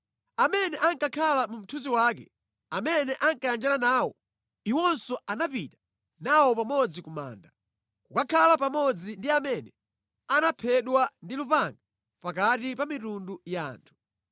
Amene ankakhala mu mthunzi wake, amene ankayanjana nawo, iwonso anapita nawo pamodzi ku manda, kukakhala pamodzi ndi amene anaphedwa ndi lupanga pakati pa mitundu ya anthu.